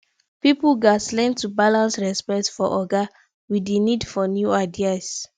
pipo gatz learn to balance respect for oga with di need for new ideas